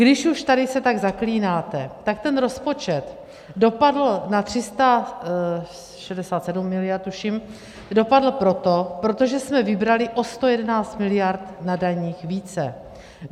Když už tady se tak zaklínáte, tak ten rozpočet dopadl na 367 miliard, tuším, dopadl proto, protože jsme vybrali o 111 miliard na daních více.